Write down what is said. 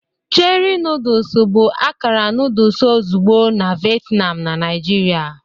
Cherie noodles bụ akara noodle ozugbo na Vietnam na Naijiria.